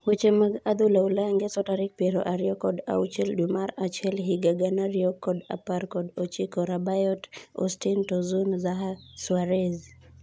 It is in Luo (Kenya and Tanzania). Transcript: Weche mag adhula Ulaya Ngeso tarik piero ariyo kod auchiel dwee mar achiel higa gana ariyo kod apar kod ochiko:Rabiot, Austine, Tosun, Zaha, Suarez.